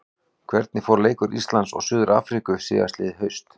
Hvernig fór leikur Íslands og Suður-Afríku síðastliðið haust?